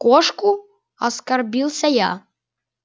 кошку оскорбился я